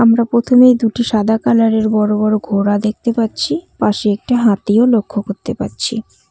আমরা প্রথমেই দুটি সাদা কালারের বড় বড় ঘোড়া দেখতে পাচ্ছি পাশে একটি হাতিও লক্ষ করতে পারছি।